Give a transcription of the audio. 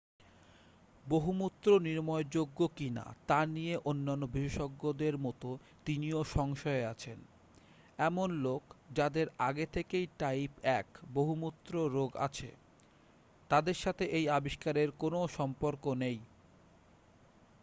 বহুমূত্র নিরাময়যোগ্য কিনা তা নিয়ে অন্যান্য বিশেষজ্ঞদের মতো তিনিও সংশয়ে আছেন এমন লোক যাদের আগে থেকেই টাইপ 1 বহুমূত্র রোগ আছে তাদের সাথে এই আবিস্কারের কোনও সম্পর্ক নেই